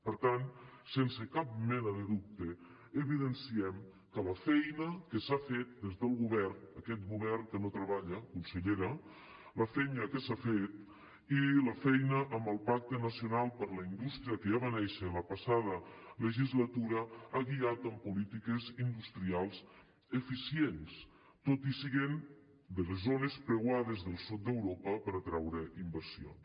per tant sense cap mena de dubte evidenciem que la feina que s’ha fet des del govern aquest govern que no treballa consellera la feina que s’ha fet i la feina amb el pacte nacional per a la indústria que ja va néixer la passada legislatura han guiat en polítiques industrials eficients tot i ser de les zones preuades del sud d’europa per a atraure inversions